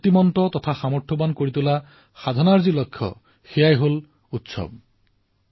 সেই নতুন সামৰ্থৰ সাধনাৰ লক্ষ্য হল এই উৎসৱসমূহ